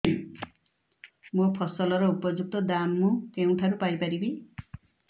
ମୋ ଫସଲର ଉପଯୁକ୍ତ ଦାମ୍ ମୁଁ କେଉଁଠାରୁ ପାଇ ପାରିବି